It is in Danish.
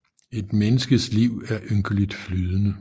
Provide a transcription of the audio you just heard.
Et menneskets liv er ynkeligt flydende